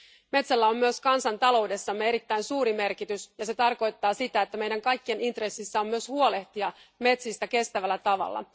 Metsällä on myös kansantaloudessamme erittäin suuri merkitys, ja se tarkoittaa sitä, että meidän kaikkien intressissä on myös huolehtia metsistä kestävällä tavalla.